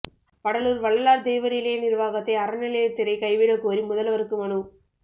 வடலூா் வள்ளலாா் தெய்வநிலைய நிா்வாகத்தை அறநிலையத் துறை கைவிடக் கோரி முதல்வருக்கு மனு